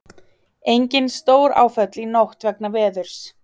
Engin stóráföll í nótt vegna veðurs